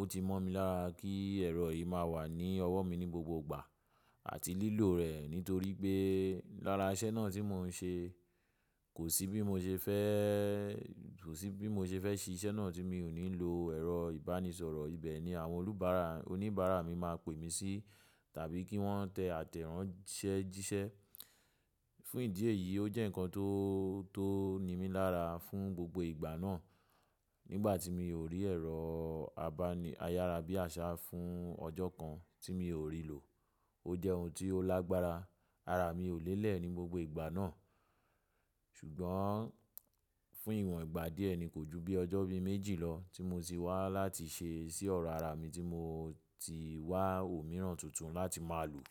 ó ti mọ́ mi lára kí ẹ̀rọ yìí máa wà ní ọwọ́ mi ní gbogbo ìgbà àti lílò rẹ̀ nítorí pé lára iṣẹ́ náà tí mò ń ṣe kò sí bí mo ṣe fẹ́, kò sí bí mo ṣe fẹ́ ṣiṣẹ́ náà tí mi ò ní lo ẹ̀rọ ìbánisọ̀rọ̀. Ibẹ̀ ni àwọn olùbárà, oníbàárà mi máa pè mí sí tàbí kí wọ́n tẹ àtẹ̀ránsẹ́jíṣẹ́. Fún ìdí èyí o jẹ́ nǹkan tó, tó nimí lára fún gbogbo ìgbà náà. Nígbà tí mi ò rí ẹ̀rọ abáni ayárabíàṣá fún ọjọ́ kan tí mi ò rí lò, o jẹ́ ohun tí ó lágbára. Ara mi ò lé lẹ̀ ní gbogbo ìgbà náà. Ṣùgbọ́n fún ìwọ̀n ìgbà díẹ̀ ni kò ju bí ọjọ́ bí méjì lọ tí mo ti wá láti ṣe sí ọ̀rọ̀ ara mi tí mo ti wá òmíràn tuntun láti máa lò.